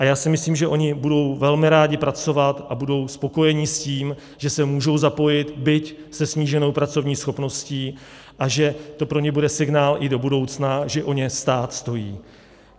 A já si myslím, že oni budou velmi rádi pracovat a budou spokojeni s tím, že se můžou zapojit, byť se sníženou pracovní schopností, a že to pro ně bude signál i do budoucna, že o ně stát stojí.